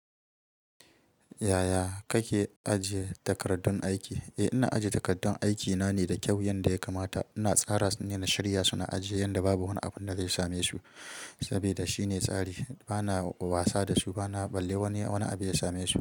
Yaya kake ajiye takardun aiki? Eh, ina ajiye takardun aikina ne da kyau yanda ya kamata. Ina tsara su ne na shirya su na ajiye yanda babu wani abun da zai same su saboda shine tsari. Bana wasa da su bana balle wani abu ya same su.